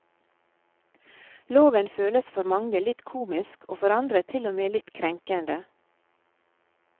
Loven føles for mange litt komisk og for andre til og med litt krenkende.